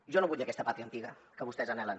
jo no vull aquesta pàtria antiga que vostès anhelen